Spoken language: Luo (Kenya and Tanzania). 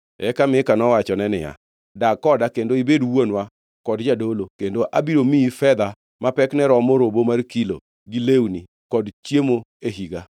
Eka Mika nowachone niya, “Dag koda kendo ibed wuonwa kod jadolo, kendo abiro miyi fedha ma pekne romo robo mar kilo, gi lewni kod chiemo e higa.”